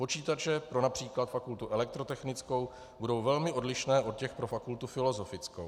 Počítače pro například fakultu elektrotechnickou budou velmi odlišné od těch pro fakultu filozofickou.